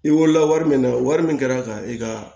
I wolola wari min na wari min kɛra ka i ka